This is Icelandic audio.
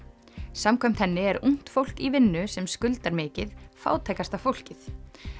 samkvæmt henni er ungt fólk í vinnu sem skuldar mikið fátækasta fólkið